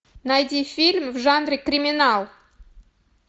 найди фильм в жанре криминал